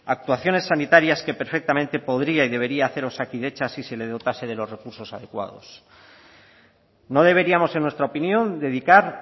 actuaciones sanitarias que perfectamente podría y debería hacer osakidetza si se le dotarse de los recursos adecuados no deberíamos en nuestra opinión dedicar